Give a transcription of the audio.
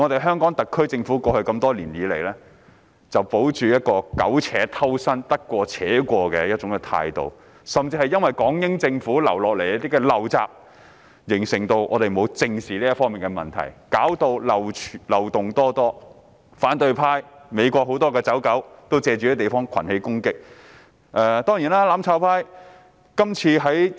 香港特區政府過去多年來只保持一種苟且偷生、得過且過的態度，甚至因港英政府遺留的一些陋習而令大家未有正視這方面的問題，以致出現種種漏洞，讓反對派及很多美國的"走狗"借助這個地方群起進行攻擊。